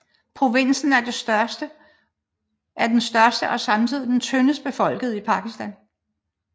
Provinsen er den største og samtidig den tyndest befolkede i Pakistan